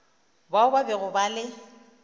bao ba bego ba le